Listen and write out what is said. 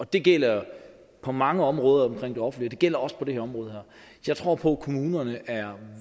det gælder på mange områder af det offentlige gælder også på det her område jeg tror på at kommunerne er